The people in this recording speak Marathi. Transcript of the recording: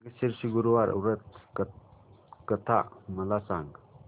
मार्गशीर्ष गुरुवार व्रत कथा मला सांग